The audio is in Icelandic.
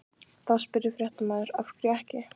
Þá spurði fréttamaður: Af hverju ekki?